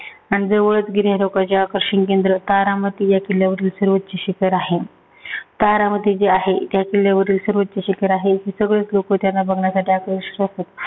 आणि जवळचं गिर्यारोहकाचे आकर्षण केंद्र तारामती या किल्ल्यावर सर्वोच्च शिखर आहे. तारामती जे आहे, त्या किल्ल्यावरील सर्वोच्च शिखर आहे. सगळेचं लोक त्याला बघायसाठी आकर्षित राहतात.